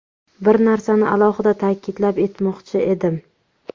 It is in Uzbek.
Bir narsani alohida ta’kidlab etmoqchi edim.